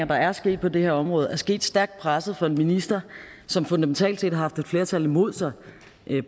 der er sket på det her område er sket stærkt presset minister som fundamentalt set har haft et flertal imod sig